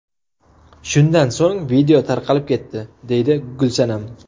Shundan so‘ng video tarqalib ketdi, deydi Gulsanam.